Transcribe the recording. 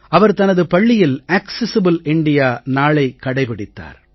அவர் தனது பள்ளியில் accessible India நாளைக் கடைபிடித்தார்